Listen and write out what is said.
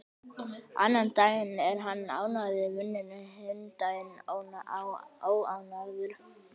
Annan daginn er hann ánægður í vinnunni, hinn daginn óánægður.